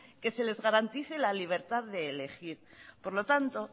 que se les garantice la libertad de elegir por lo tanto